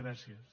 gràcies